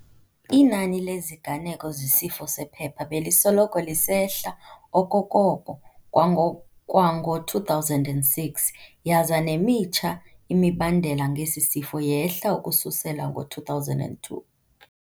Inani leziganeko zesifo sephepha belisoloko lisehla okokoko kwango kwango-2006, yaza nemitsha imibandela ngesi sifo yehla ukususela ngo-2002.